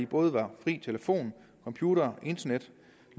både var fri telefon computer internet